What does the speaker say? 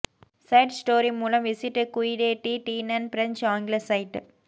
side story மூலம் visit குயிடே டி டீன்னன் பிரஞ்சு ஆங்கில சைட்